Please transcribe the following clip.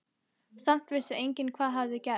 Samt vissi enginn hvað hafði gerst.